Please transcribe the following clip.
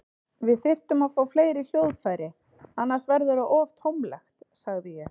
Við þyrftum að fá fleiri hljóðfæri, annars verður það of tómlegt, sagði ég.